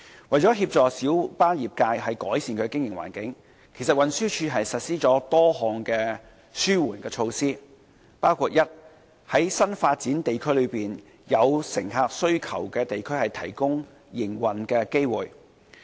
為了協助小巴業界改善其經營環境，其實運輸署實施了多項紓緩措施，包括：第一，在新發展地區內有乘客需求的地區提供營運機會。